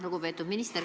Lugupeetud minister!